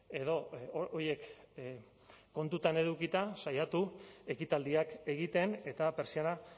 edo horiek kontutan edukita saiatu ekitaldiak egiten eta pertsiana